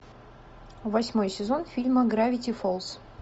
восьмой сезон фильма гравити фолз